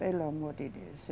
Pelo amor de Deus.